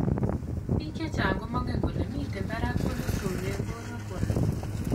Biik chechang komeng'en kole mitei barak cholestrol eng' borwekwak